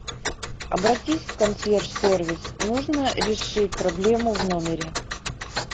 обратись в консьерж сервис нужно решить проблему в номере